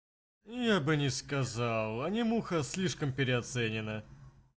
я бы не сказал а не муха слишком переоценена